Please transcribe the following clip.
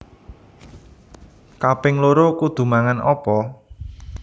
Kaping loro kudu mangan opo?